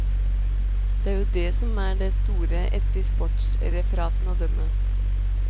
Det er jo dét som er det store etter sportsreferatene å dømme.